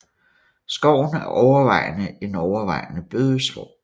Skoven er overvejende en overvejende bøgeskov